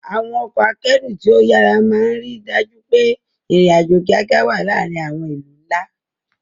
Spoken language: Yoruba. Àwọn ọkọ̀ akẹ́rù tí ó yára máa ń rí i dájú pé ìrìn-àjò kíákíá wà láàárín àwọn ìlú ńlá.